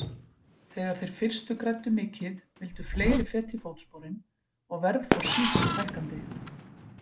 Þegar þeir fyrstu græddu mikið vildu fleiri feta í fótsporin og verð fór sífellt hækkandi.